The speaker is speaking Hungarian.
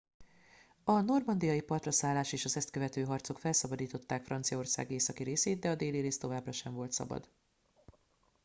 a normandiai partraszállás és az ezt követő harcok felszabadították franciaország északi részét de a déli rész továbbra sem volt szabad